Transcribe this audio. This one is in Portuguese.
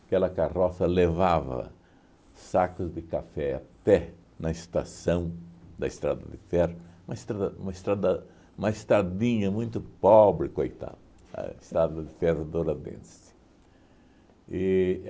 Aquela carroça levava sacos de café até na estação da Estrada de Ferro, uma estrada uma estrada uma estradinha muito pobre, coitada, a Estrada de Ferro Douradense. E